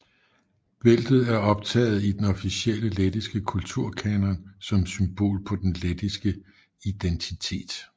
Bæltet er optaget i den officielle lettiske kulturkanon som symbol på den lettiske identitet